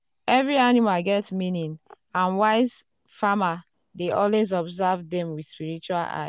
um every um animal get meaning and wise um farmer dey always observe dem with spiritual eye.